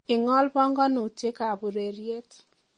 Ingol bongonutiek ab ureryet